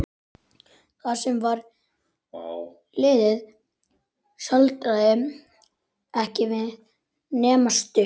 Það sem var liðið staldraði ekki við nema stutt.